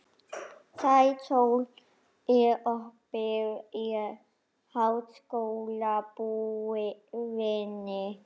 Sæsól, er opið í Háskólabúðinni?